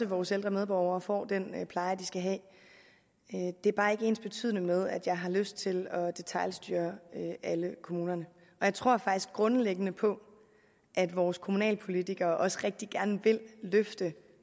vores ældre medborgere får den pleje de skal have det er bare ikke ensbetydende med at jeg har lyst til at detailstyre alle kommunerne jeg tror faktisk grundlæggende på at vores kommunalpolitikere også rigtig gerne vil løfte